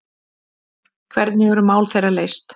Hvernig eru mál þeirra leyst?